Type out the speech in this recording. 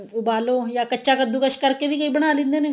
ਵੀ ਉਬਾਲੋ ਜਾਂ ਕੱਚਾ ਕੱਦੂਕਸ਼ ਕਰਕੇ ਵੀ ਕਈ ਬਣਾ ਲੇਂਦੇ ਨੇ